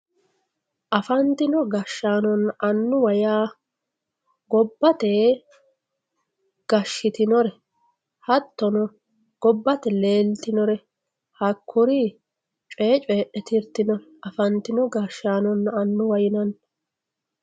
afantino gashshaanonna annuwa yaa gobbate gashshitinore hattono gobbate leeltinore hakkuri coyee coydhe tirtinore afantino gashshaanonna annuwa yinanni.